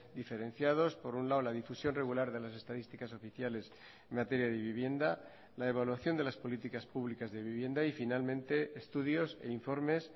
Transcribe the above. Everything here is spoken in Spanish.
diferenciados por un lado la difusión regular de las estadísticas oficiales en materia de vivienda la evaluación de las políticas públicas de vivienda y finalmente estudios e informes